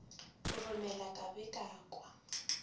roromela ka be ka kwa